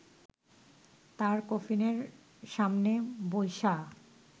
তার কফিনের সামনে বইসা